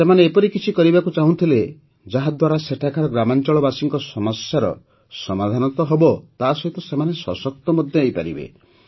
ସେମାନେ ଏପରି କିଛି କରିବାକୁ ଚାହୁଁଥିଲେ ଯାହାଦ୍ୱାରା ସେଠାକାର ଗ୍ରାମାଞ୍ଚଳବାସୀଙ୍କ ସମସ୍ୟାର ସମାଧାନ ତ ହେବ ତାସହିତ ସେମାନେ ସଶକ୍ତ ମଧ୍ୟ ହୋଇପାରିବେ